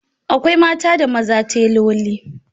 Akwai mata da maza teloli